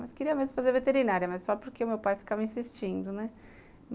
Mas queria mesmo fazer veterinária, mas só porque meu pai ficava insistindo, né?